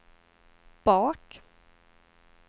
bak